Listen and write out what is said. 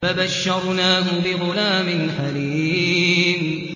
فَبَشَّرْنَاهُ بِغُلَامٍ حَلِيمٍ